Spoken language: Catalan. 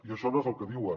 i això no és el que diuen